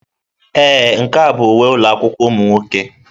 Ee, nke a bụ uwe ụlọ akwụkwọ ụmụ nwoke.